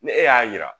Ne e y'a jira